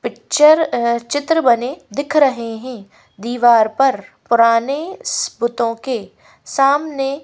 picture चित्र बने दिख रहे हैं दीवार पर पुराने बुतों के सामने--